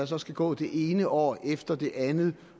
så skal gå det ene år efter det andet